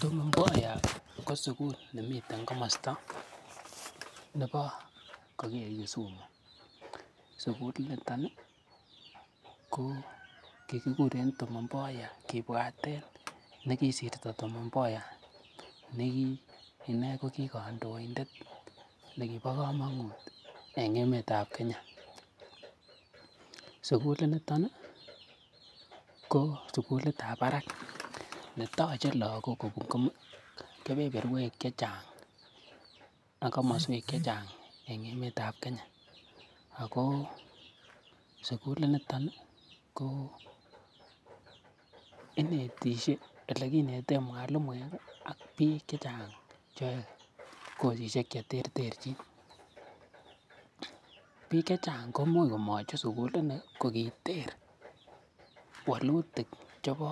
Tom Mboya ko sugul nemiten komosta nebo yun koger Kisumu. Sugulinito ko kigikuren Tom Mboya kibwaten nekisirto Tom Mboya nekiine kogikandoindet nekibo komonut en emetab Kenya. Sugulinito ko sugulitab barak netoche lagok kobun kebeberwek chechang ak komoswek che chang en emet ab Kenya ago sugulinito ko inetishe, ole kineten mwalimuek ak biik che chang cheyoe kosishek che terterchin biik che chang koimuch komachut sugulini kogiterwalutik chebo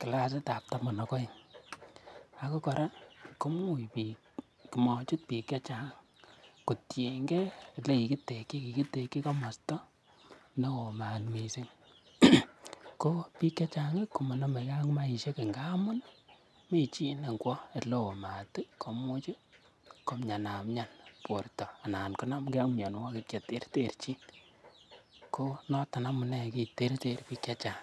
kilasitab taman ak oengago kora komuch komachut biik che chang kotienge ele kigiteki. Kigiteki komosta neo maat mising, ko biik chechang komanamegei ak maaishek ngamun mi chi ne ngwo ole oo maat komuch komiana mian borto anan konamge ak mianwogik che terchin. Ko noton amune kiter biik che chang.